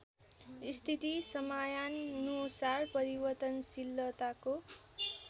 स्थिति समयानुसार परिवर्तनशीलताको